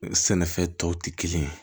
Sɛnɛfɛn tɔw tɛ kelen ye